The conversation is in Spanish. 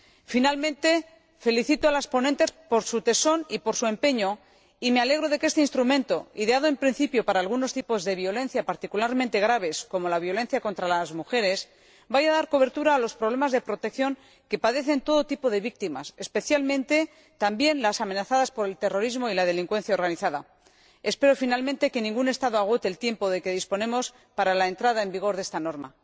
Por último, felicito a las ponentes por su tesón y por su empeño y me alegro de que este instrumento, ideado en principio para algunos tipos de violencia particularmente graves, como la violencia contra las mujeres, vaya a dar cobertura a los problemas de protección que padecen todo tipo de víctimas, especialmente también las amenazadas por el terrorismo y la delincuencia organizada. Espero, finalmente, que ningún Estado agote el tiempo de que disponemos para la entrada en vigor de esta norma.